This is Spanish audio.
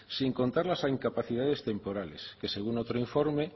sin contar las incapacidades temporales que según otro informe